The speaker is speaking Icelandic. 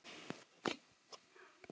Ég er ekki aðeins ljón.